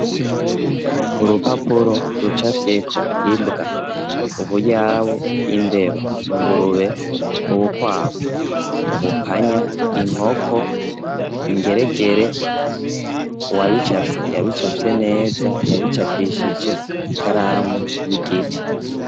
Urupapuro rucafyeko imbwa, ubuyabu, imbeba? ingurube, ubukwavu, ubupanya, inkoko, ingeregere, uwabicafye yabicafye neza yabicapishije ikaramu y'igiti.